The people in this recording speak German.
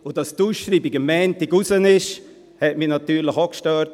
Dass die Ausschreibung am Montag rausging, das hat mich natürlich auch gestört.